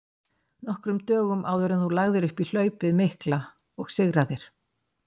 nokkrum dögum áður en þú lagðir upp í hlaupið mikla og sigraðir.